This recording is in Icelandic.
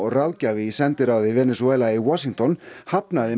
og ráðgjafi í sendiráði Venesúela í Washington hafnaði